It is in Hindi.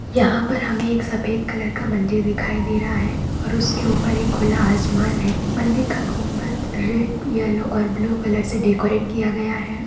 यहाँ पर हमें एक सफ़ेद कलर का मंदिर दिखाई दे रहा है और उसके ऊपर एक खुला आसमान है मंदिर का गुम्बद रेड येलो और ब्लू कलर से डेकोरेट किया गया है।